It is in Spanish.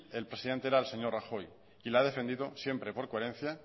el presidente era el señor rajoy y la ha defendido siempre por coherencia